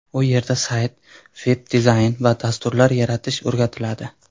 U yerda sayt, veb-dizayn va dasturlar yaratish o‘rgatiladi.